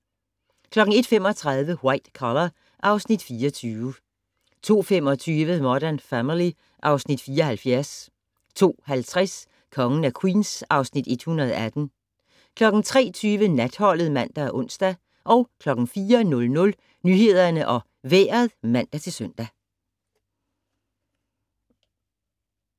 01:35: White Collar (Afs. 24) 02:25: Modern Family (Afs. 74) 02:50: Kongen af Queens (Afs. 118) 03:20: Natholdet (man og ons) 04:00: Nyhederne og Vejret (man-søn)